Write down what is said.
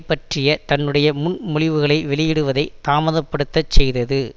பற்றிய தன்னுடைய முன்மொழிவுகளை வெளியிடுவதை தாமதப்படுத்தச் செய்தது